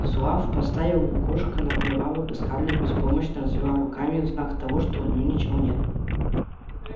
зуав поставил лукошко на прилавок и скарлетт беспомощно развела руками в знак того что у неё ничего нет